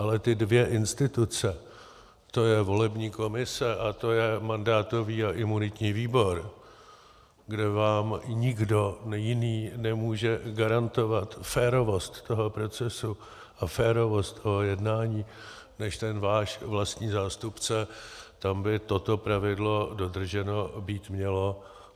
Ale ty dvě instituce, to je volební komise a to je mandátový a imunitní výbor, kde vám nikdo jiný nemůže garantovat férovost toho procesu a férovost toho jednání než ten váš vlastní zástupce, tam by toto pravidlo dodrženo být mělo.